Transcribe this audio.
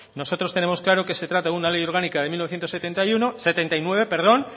nosotros tenemos claro que se trata de una ley orgánica del setenta y nueve